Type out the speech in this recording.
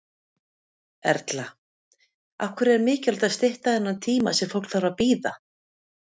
Erla: Af hverju er mikilvægt að stytta þennan tíma sem fólk þarf að bíða?